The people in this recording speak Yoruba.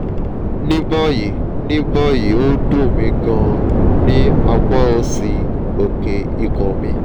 ní báyìí ní báyìí ó ń dùn mí gan-an ní apá òsì òkè ikùn mi